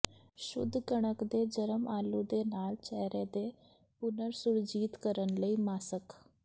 ਸ਼ੁੱਧ ਕਣਕ ਦੇ ਜਰਮ ਆਲੂ ਦੇ ਨਾਲ ਚਿਹਰੇ ਦੇ ਪੁਨਰ ਸੁਰਜੀਤ ਕਰਨ ਲਈ ਮਾਸਕ